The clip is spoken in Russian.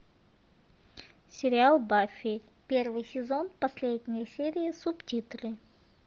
сериал баффи первый сезон последняя серия субтитры